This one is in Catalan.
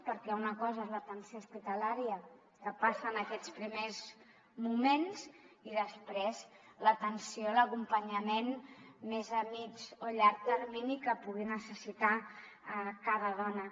perquè una cosa és l’atenció hospitalària què passa en aquests primers moments i després l’atenció l’acompanyament més a mitjà o llarg termini que pugui necessitar cada dona